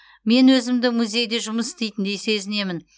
мен өзімді музейде жұмыс істейтіндей сезінемін